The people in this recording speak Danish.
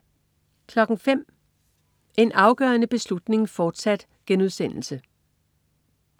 05.00 En afgørende beslutning, fortsat*